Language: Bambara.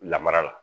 Lamara la